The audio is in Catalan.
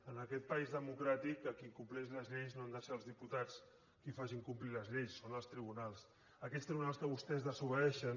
en aquest país democràtic als que incompleixin les lleis no han de ser els diputats els qui facin complir les lleis són els tribunals aquests tribunals que vostès desobeeixen